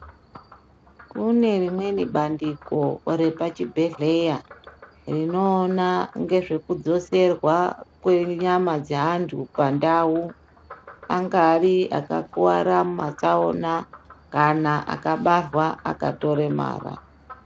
Kune rimweni bandiko repachibhedgleya rinoona ngezvekudziserwa kwenyama dzeantu pandau angave akakuwara mumatsaona kana akabarwa akatoremara.